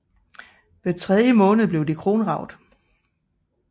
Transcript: Hver tredje måned blev de kronraget